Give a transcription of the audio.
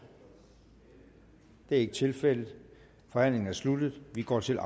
det er ikke tilfældet forhandlingen er sluttet og vi går til